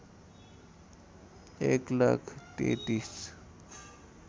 १ lakh ३३